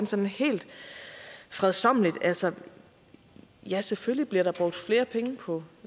sådan helt fredsommeligt altså ja selvfølgelig bliver der brugt flere penge på